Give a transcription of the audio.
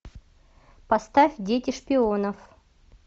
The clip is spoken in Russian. поставь дети шпионов